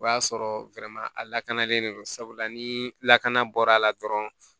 O y'a sɔrɔ a lakanalen don sabula ni lakana bɔra a la dɔrɔn